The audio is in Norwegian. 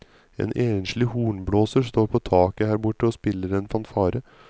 En enslig hornblåser står på taket her borte og spiller en fanfare.